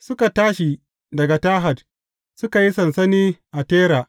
Suka tashi daga Tahat, suka yi sansani a Tera.